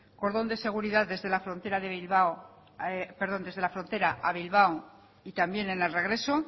cordón de seguridad desde la frontera a bilbao y también en el regreso